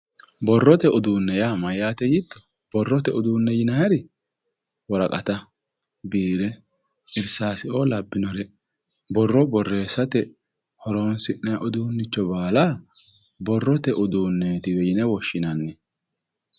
borrote uduunne maati yiito borrote udunne yinayiiri woraqata biire irsaase o labbinore borro borreessate horonsi'nanni udunne baala borrote udunneetiwe yine woshshinanni